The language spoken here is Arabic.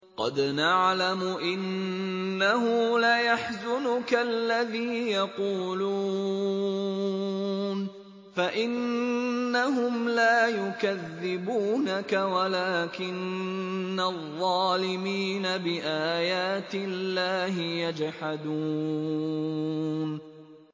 قَدْ نَعْلَمُ إِنَّهُ لَيَحْزُنُكَ الَّذِي يَقُولُونَ ۖ فَإِنَّهُمْ لَا يُكَذِّبُونَكَ وَلَٰكِنَّ الظَّالِمِينَ بِآيَاتِ اللَّهِ يَجْحَدُونَ